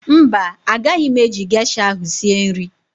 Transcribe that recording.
Mba, agaghị m eji gesha ahụ sie nri